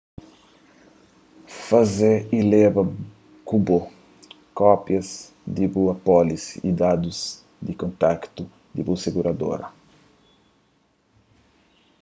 faze y leba ku bo kópias di bu apólisi y dadus di kontaktu di bu siguradora